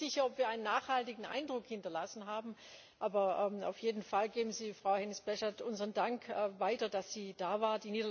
Ich bin mir nicht sicher, ob wir einen nachhaltigen Eindruck hinterlassen haben, aber auf jeden Fall geben Sie Frau Hennis Plasschaert unseren Dank weiter, dass sie da war.